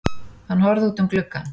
Hann horfði út um gluggann.